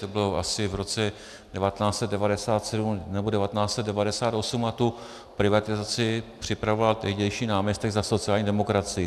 To bylo asi v roce 1997 nebo 1998 a tu privatizaci připravoval tehdejší náměstek za sociální demokracii.